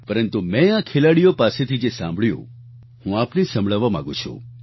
પરંતુ મેં આ ખેલાડીઓ પાસેથી જે સાંભળ્યું હું આપને સંભળાવવા માંગુ છું